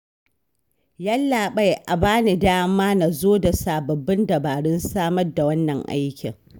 Yallaɓai a ba ni dama na zo da sababbin dabarun samar da wannan aikin